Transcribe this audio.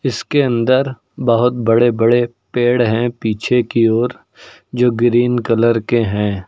इसके अंदर बहुत बड़े बड़े पेड़ हैं पीछे की ओर जो ग्रीन कलर के हैं।